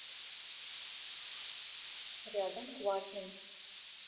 рядом квакин